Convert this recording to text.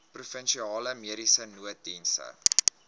provinsiale mediese nooddienste